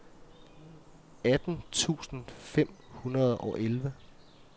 atten tusind fem hundrede og elleve